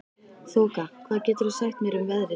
Þoka, hvað geturðu sagt mér um veðrið?